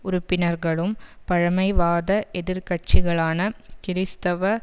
உறுப்பினர்களும் பழமைவாத எதிர்க்கட்சிகளான கிறிஸ்தவ